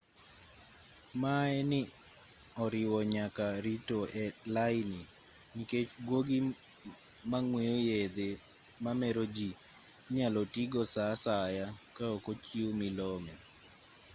maye ni oriwo nyaka rito e laini nikech guogi mang'weyo yedhe mamero ji inyalo tii go saa asaya kaok ochiw milome